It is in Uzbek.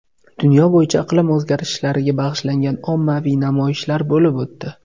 Dunyo bo‘yicha iqlim o‘zgarishlariga bag‘ishlangan ommaviy namoyishlar bo‘lib o‘tdi.